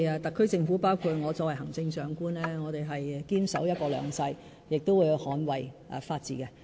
特區政府，包括我作為行政長官，我們是堅守"一國兩制"，亦會捍衞法治。